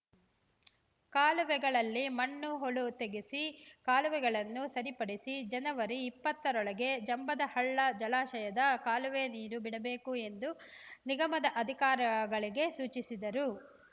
ಕಾಲುವೆಗಳಲ್ಲಿ ಮಣ್ಣು ಹೂಳು ತೆಗೆಸಿ ಕಾಲುವೆಗಳನ್ನು ಸರಿಪಡಿಸಿ ಜನವರಿ ಇಪ್ಪತ್ತರೊಳಗೆ ಜಂಬದಹಳ್ಳ ಜಲಾಶಯದ ಕಾಲುವೆ ನೀರು ಬಿಡಬೇಕು ಎಂದು ನಿಗಮದ ಅಧಿಕಾರಿಗಳಿಗೆ ಸೂಚಿಸಿದರು